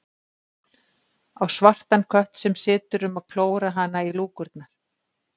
Á svartan kött sem situr um að klóra hana í lúkurnar.